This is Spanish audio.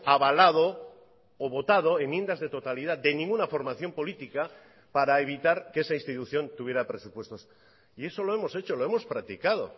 avalado o votado enmiendas de totalidad de ninguna formación política para evitar que esa institución tuviera presupuestos y eso lo hemos hecho lo hemos practicado